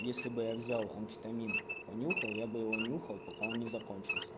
если бы я взял амфетамин понюхал я бы его нюхал пока он не закончился